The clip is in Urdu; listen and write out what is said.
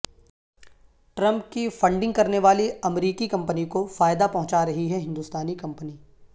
ٹرمپ کی فنڈنگ کرنے والی امریکی کمپنی کو فائدہ پہنچا رہی ہے ہندوستانی کمپنی